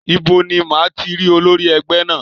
Ibo ni máa ti rí olórí ẹgbẹ́ náà?